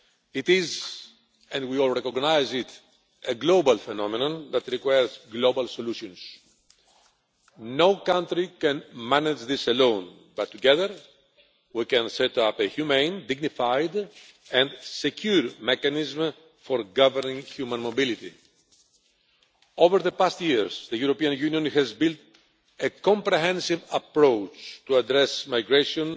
It is and we all recognise it a global phenomenon that requires global solutions. No country can manage this alone, but together we can set up a humane, dignified and secure mechanism for governing human mobility. Over the past years, the European Union has built a comprehensive approach to addressing migration